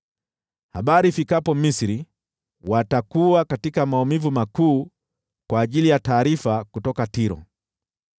Habari ifikapo Misri, watakuwa katika maumivu makuu kwa ajili ya taarifa kutoka Tiro.